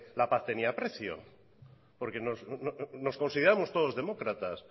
la paz tenía precio porque nos consideramos todos demócratas